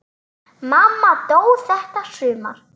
Mamma dó þetta sumar.